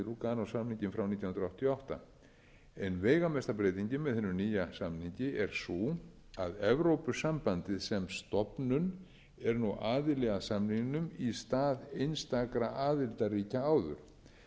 lúganósamninginn frá nítján hundruð áttatíu og átta ein veigamesta breytingin með hinum nýja samningi er sú að evrópusambandið sem stofnun er nú aðili að samningnum í stað einstakra aðildarríkja áður